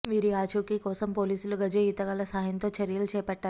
వీరి ఆచూకీ కోసం పోలీసులు గజ ఈతగాళ్ల సహాయంతో చర్యలు చేపట్టారు